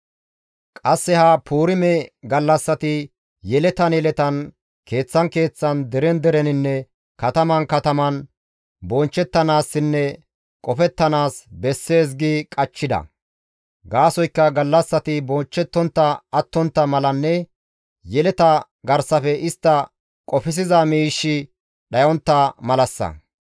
Qasse ha Puurime gallassati yeletan yeletan, keeththan keeththan, deren dereninne kataman kataman bonchchettanaassinne qofettanaas bessees gi qachchida; gaasoykka gallassati bonchchettontta attontta malanne yeleta garsafe istta qofsiza miishshi dhayontta malassa.